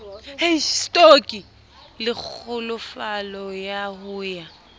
le kgolofalo ya ho ya